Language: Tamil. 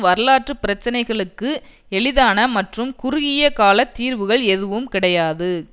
வரலாற்று பிரச்சினைகளுக்கு எளிதான மற்றும் குறுகிய கால தீர்வுகள் எதுவும் கிடையாது